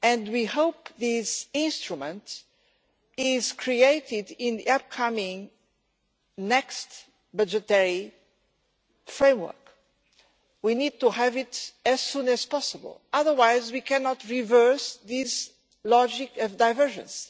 We hope that this instrument will be created in the upcoming next budgetary framework. We need to have it as soon as possible, otherwise we cannot reverse this logic of divergence.